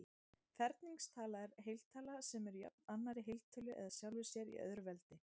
Ferningstala er heiltala sem er jöfn annarri heiltölu eða sjálfri sér í öðru veldi.